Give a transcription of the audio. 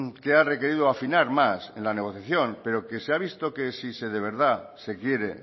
que ha requerido afinar más en la negociación pero que se ha visto que si de verdad se quiere